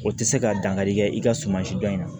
O tɛ se ka dankari kɛ i ka suma si dɔn in na